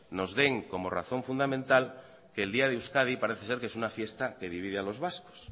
nos den como razón fundamental que el día de euskadi parece ser que es una fiesta que divide a los vascos